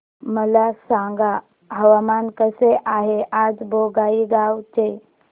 मला सांगा हवामान कसे आहे आज बोंगाईगांव चे